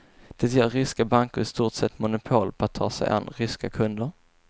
Det ger ryska banker i stort sett monopol på att ta sig an ryska kunder.